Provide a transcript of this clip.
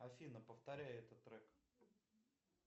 афина повторяй этот трек